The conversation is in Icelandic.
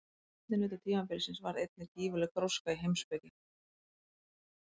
Á seinni hluta tímabilsins varð einnig gífurleg gróska í heimspeki.